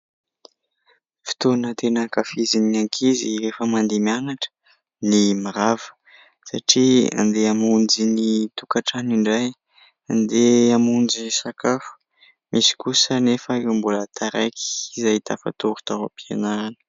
Fotoana tena ankafizin'ny ankizy rehefa mandeha mianatra ny mirava satria andeha hamonjy ny tokantrano indray, andeha hamonjy sakafo misy kosa anefa ireo mbola taraiky izay tafatory tao am-pianarana